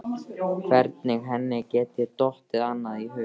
Hvernig henni geti dottið annað í hug?